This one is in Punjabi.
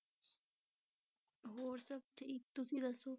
ਹੋਰ ਸਭ ਠੀਕ, ਤੁਸੀਂ ਦੱਸੋ।